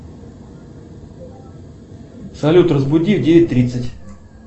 салют разбуди в девять тридцать